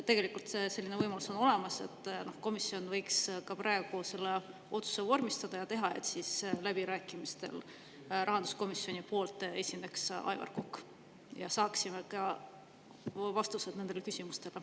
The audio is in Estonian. Tegelikult on selline võimalus olemas, komisjon võiks praegu selle otsuse vormistada ja siis esineks läbirääkimistel rahanduskomisjoni nimel Aivar Kokk ja me saaksime vastused ka nendele küsimustele.